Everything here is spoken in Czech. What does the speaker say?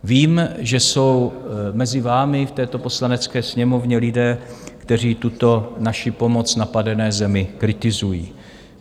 Vím, že jsou mezi vámi v této Poslanecké sněmovně lidé, kteří tuto naši pomoc napadené zemi kritizují.